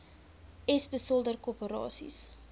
s beslote korporasies